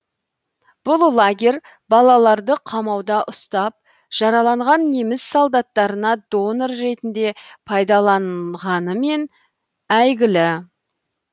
бұл лагерь балаларды қамауда ұстап жараланған неміс солдаттарына донор ретінде пайдаланғанымен әйгілі